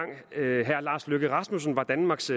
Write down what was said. herre lars løkke rasmussen var danmarks